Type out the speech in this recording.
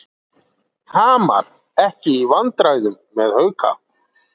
Hamar ekki í vandræðum með Hauka